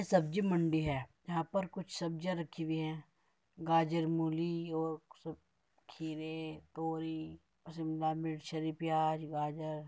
सब्जी मंडी है | यहाँ पर कुछ सब्जियां रखी हुई है | गाजर मुली और सब खीरे तोरी अ शिमला मिर्च हरी प्याज़ गाजर --